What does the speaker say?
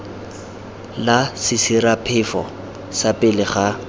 la sesiraphefo fa pele ga